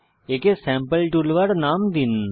একে sample toolbar নাম দিন